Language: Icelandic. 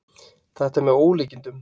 Þetta er með ólíkindum